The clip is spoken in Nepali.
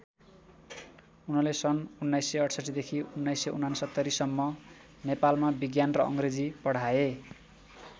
उनले सन् १९६८ देखि १९६९ सम्म नेपालमा विज्ञान र अङ्ग्रेजी पढाए।